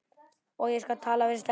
Ég skal tala við Stellu.